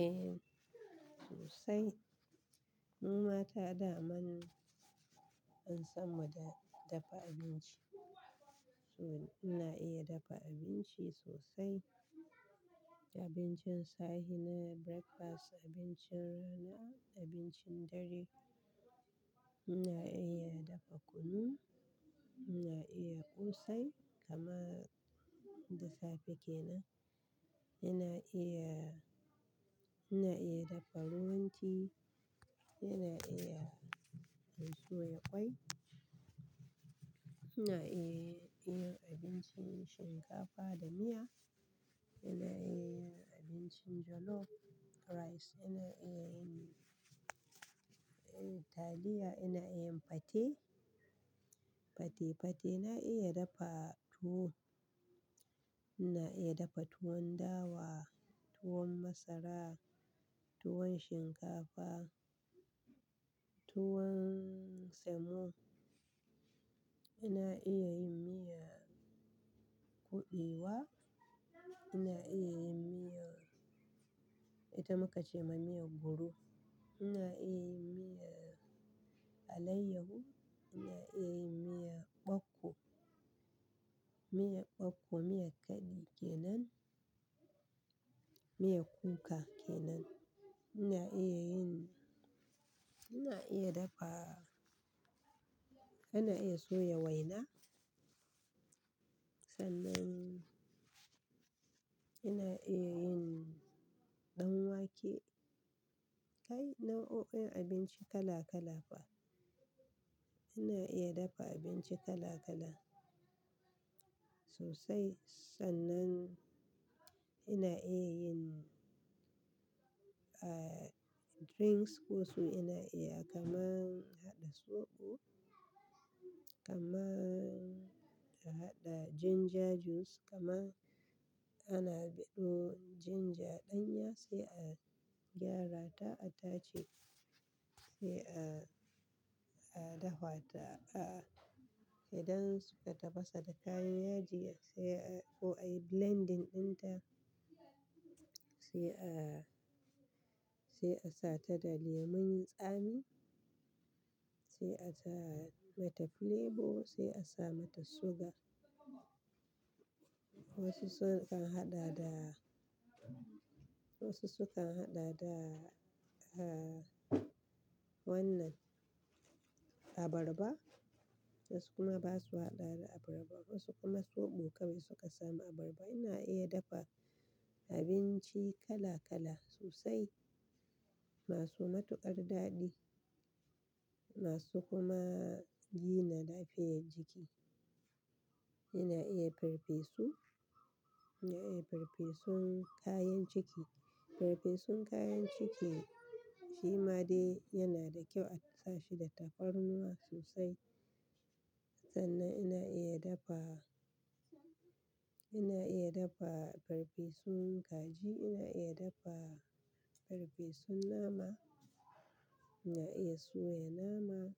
Eh sosai. Mu mata dama an san mu da dafa abinci. To ina iya dafa abinci sosai, abincin safe na breakfast, abincin rana, abincin dare. Ina iya dafa kunu, ina iya ƙosai kamar da safe kenan. Ina iya, ina iya dafa ruwan tea, ina iya soya ƙwai, ina iya yin abincin shinkafa da miya, ina iya yin abincin jollof rice, ina iya yin taliya, ina iya yin pate, pate pate. Na iya dafa tuwo, ina iya dafa tuwon dawa, tuwon masara, tuwon shinkafa, tuwon semo. Ina iya yin miyan kuɓewa, ina iya yin miya, ita muka ce ma miya gudu, ina iya yin miya alayyahu, ina iya yin miya ɓakko, miya ɓakko, miya kaɗi kenan, miya kuka kenan. Ina iya yin, ina iya dafa, ina iya soya waina. Sannan ina iya yin ɗan wake kai nau'o'in abinci kala kala fa. Ina iya dafa abinci kala kala sosai. Sannan ina iya yin ah drinks wasu ina iya kaman haɗa soɓo, kaman haɗa ginger juice, kaman ana ɓido ginger ɗanya sai a gyara ta, a tace sai a, a dahwa ta. A'a idan suka tafasa da kayan yajiya sai a, ko ai blending ɗinta sai a, sai a sa ta da lemun tsami, sai a sa mata flavor, sai a sa mata sugar. Wasu sukan haɗa da, wasu sukan haɗa da ah wannan abarba wasu kuma ba su haɗa da abarba wasu kuma soɓo kawai suka sami abarba. Ina iya dafa abinci kala kala sosai masu matuƙar daɗi masu kuma gina lafiyar jiki. Ina iya farfesu, ina iya farfesun kayan ciki. Farfesun kayan ciki shi ma dai yana da kyau a tafa shi da tafarnuwa sosai. Sannan ina iya dafa, ina iya dafa farfesun kaji, ina iya dafa farfesun nama, ina iya soya nama,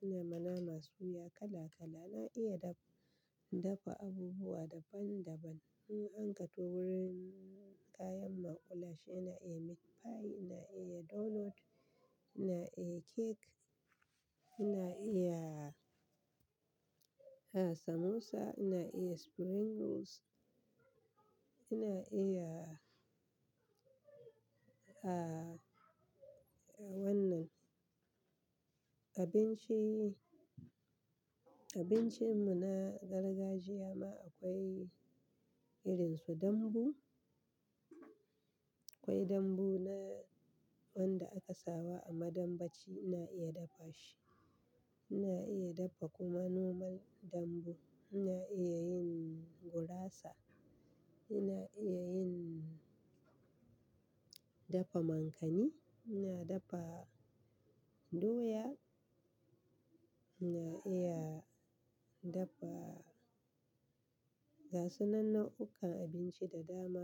ina ma nama suya kala kala. Ina iya dafa abubuwa daban daban. In an kawo wurin kayan makullashe ina iya meat pie, ina iya donut, ina iya cake, ina iya ah samosa, ina iya spring rolls, ina iya ah wannan abinci, abincin mu na gargajiya ma akwai irin su dambu. Akwai dambu na wanda aka sawa a maɗambaci ina iya dafa shi. Ina iya dafa kuma normal dambu. Ina iya yin gurasa, ina iya yin, dafa mankani, ina dafa doya, ina iya dafa gasu nan nau'ukkan abinci da dama.